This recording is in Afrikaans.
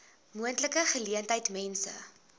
moontlike geleentheid mense